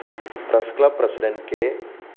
press club president K